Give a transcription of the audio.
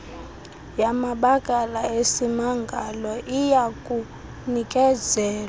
yamabakala esimangalo iyakunikezelwa